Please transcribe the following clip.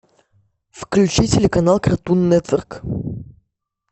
включи телеканал картун нетворк